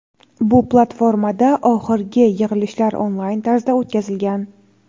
bu platformada oxirgi yig‘ilishlar onlayn tarzda o‘tkazilgan.